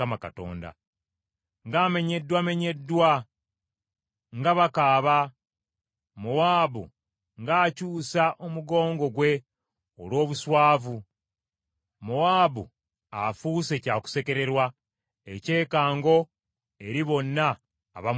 “Ng’amenyeddwamenyeddwa! Nga bakaaba! Mowaabu ng’akyusa omugongo gwe olw’obuswavu! Mowaabu afuuse kyakusekererwa, ekyekango eri bonna abamwetoolodde.”